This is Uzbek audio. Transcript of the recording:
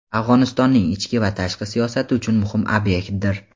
Afg‘onistonning ichki va tashqi siyosati uchun muhim ob’ektdir.